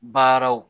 Baaraw